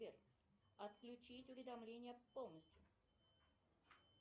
сбер отключить уведомления полностью